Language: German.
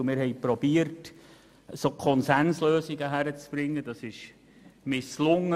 Und wir haben versucht, Konsenslösungen zu finden, was leider misslang.